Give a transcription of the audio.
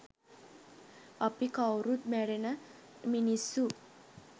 අපි කවුරුත් මැරෙන මිනිස්සු